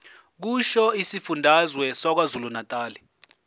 kusho isifundazwe sakwazulunatali